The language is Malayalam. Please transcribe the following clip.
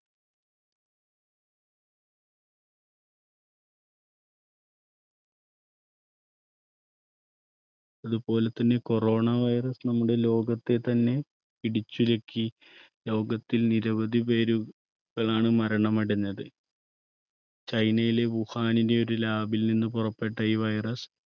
അതുപോലെ തന്നെ corona virus നമ്മുടെ ലോകത്തെ തന്നെ പിടിച്ചുലക്കി ലോകത്തിൽ നിരവധി പേരു~കളാണ് മരണമടഞ്ഞത്. ചൈനയിലെ വുഹാനിലെ ഒരു lab ൽ നിന്നും പുറപ്പെട്ട ഈ virus,